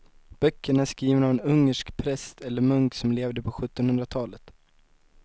Böckerna är skrivna av en ungersk präst eller munk som levde på sjuttonhundratalet.